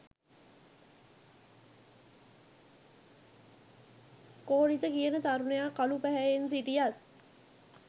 කෝලිත කියන තරුණයා කළු පැහැයෙන් සිටියත්